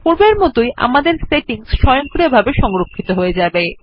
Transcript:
পূর্বের মতন আমাদের সেটিংস স্বয়ংক্রিয়ভাবে সংরক্ষিত হয়ে যাবে